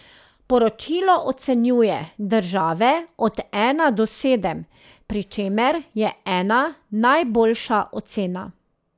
Poročilo ocenjuje države od ena do sedem pri čemer je ena najboljša ocena.